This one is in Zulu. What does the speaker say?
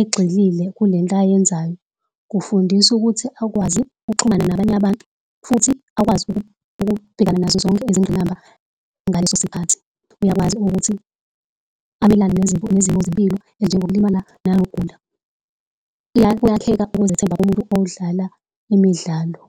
egxilile kulento ayenzayo. Kufundisa ukuthi akwazi ukuxhumana nabanye abantu, futhi akwazi ukubhekana nazo zonke izingqinamba ngaleso sikhathi. Uyakwazi ukuthi amelane nezimo zempilo ezinjengokulimala nokugula, kuyakheka ukuzethemba kumuntu odlala imidlalo.